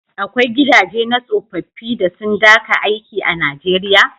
Akwai gidaje na tsofaffi da sun daka aiki a Nijeriya?